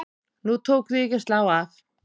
Nú tók því ekki að slá af.